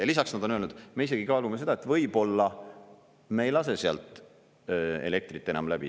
Ja lisaks nad on öelnud, me isegi kaalume seda, et võib-olla me ei lase sealt elektrit enam läbi.